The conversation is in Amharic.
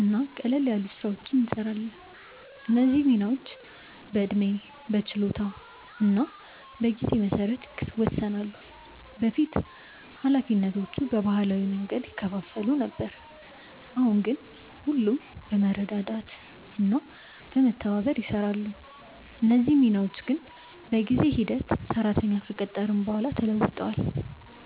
እና ቀላል ስራዎችን እንሰራለን። እነዚህ ሚናዎች በዕድሜ፣ በችሎታ እና በጊዜ መሰረት ይወሰናሉ። በፊት ኃላፊነቶቹ በባህላዊ መንገድ ይከፋፈሉ ነበር፣ አሁን ግን ሁሉም በመረዳዳት እና በመተባበር ይሰራሉ። እነዚህ ሚናዎች ግን በጊዜ ሂደት ሰራተኛ ከቀጠርን በኋላ ተለውጧል።